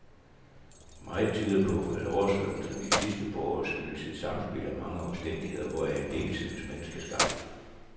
Meget tyder på, at oversvømmelserne de sidste par år skyldes et samspil af mange omstændigheder, hvoraf en del synes menneskeskabte.